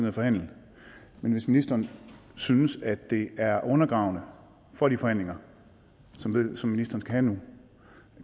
at forhandle men hvis ministeren synes at det er undergravende for de forhandlinger som ministeren skal have nu